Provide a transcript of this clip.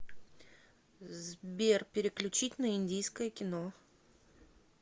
сбер переключить на индийское кино